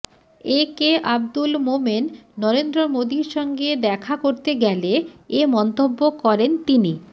একে আবদুল মোমেন নরেন্দ্র মোদির সঙ্গে দেখা করতে গেলে এ মন্তব্য করেন তিনি